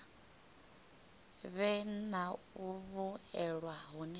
vhe na u vhuelwa hune